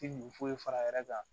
Ti foyi fara a yɛrɛ kan